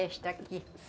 Esta aqui.